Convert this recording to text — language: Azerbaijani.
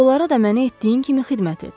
Onlara da məni etdiyin kimi xidmət et.